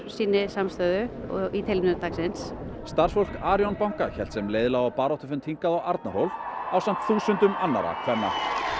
sýni samstöðu í tilefni dagsins starfsfólk Arion banka hélt sem leið lá á baráttufund hingað á Arnarhól ásamt þúsundum annarra kvenna